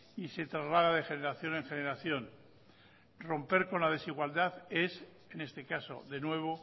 y se traslada de generación en generación romper con la desigualdad es en este caso de nuevo